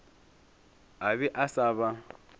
a be a sa ba